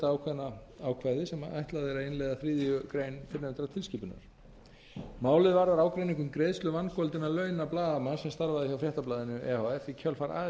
ákveðna ákvæði sem ætlað er að innleiða þriðju grein fyrrnefndrar tilskipunar málið varðar ágreining um greiðslu vangoldinna launa blaðamanns sem starfaði hjá fréttablaðinu e h f í kjölfar